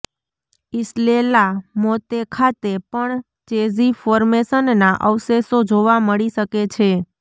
Isle la Motte ખાતે પણ Chazy ફોર્મેશનનાં અવશેષો જોવા મળી શકે છે